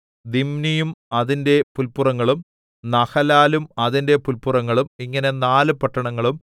ദിമ്നിയും അതിന്റെ പുല്പുറങ്ങളും നഹലാലും അതിന്റെ പുല്പുറങ്ങളും ഇങ്ങനെ നാല് പട്ടണങ്ങളും